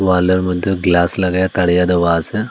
ওয়ালের মধ্যে গ্লাস লাগাইয়া তারিয়া দেওয়া আসে।